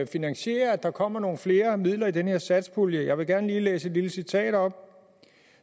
finansiere at der kommer nogle flere midler i den her satspulje jeg vil gerne lige læse et lille citat op